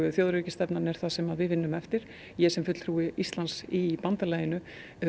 þjóðaröryggisstefnan er það sem við vinnum eftir ég sem fulltrúi Íslands í bandalaginu